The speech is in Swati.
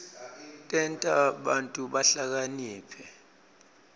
tenta bantfu bahlakaniphe